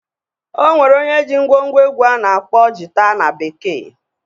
O nwere onye jii ngwo ngwo egwu a na-akpọ Jita na bekee.